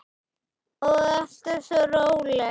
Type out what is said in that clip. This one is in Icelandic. Og alltaf svo róleg.